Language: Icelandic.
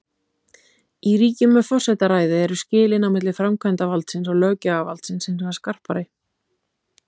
Í ríkjum með forsetaræði eru skilin á milli framkvæmdavaldsins og löggjafarvaldsins hins vegar skarpari.